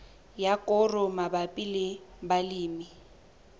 ya koro mabapi le balemi